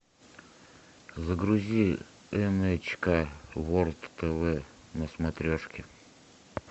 загрузи эн эйч ка ворлд тв на смотрешке